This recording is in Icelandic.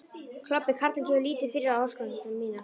Klobbi karlinn gefur lítið fyrir áskoranir mínar.